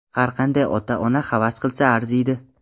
har qanday ota-ona havas qilsa arziydi.